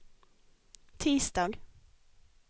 tisdag